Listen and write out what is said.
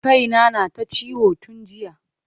Kai na na ta ciwo tun jiya.